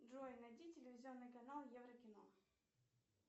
джой найди телевизионный канал еврокино